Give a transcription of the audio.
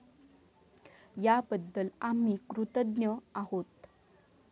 याबद्दल आम्ही कृतज्ञ आहोत.